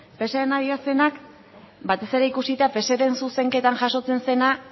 pseren adierazpenak batez ere ikusita pseren zuzenketan jasotzen zena